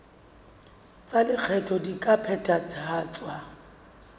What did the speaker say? tsa lekgetho di ka phethahatswa